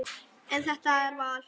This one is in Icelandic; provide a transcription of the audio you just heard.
En þetta er val.